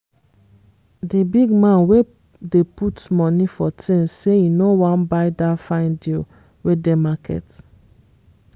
di big man wey dey put money for things say e no want buy dat fine deal wey dey market.